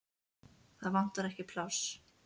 Það vantar ekki pláss.